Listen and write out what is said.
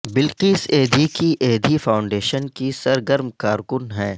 بلقیس ایدھی کی ایدھی فاونڈیشن کی سرگرم کارکن ہیں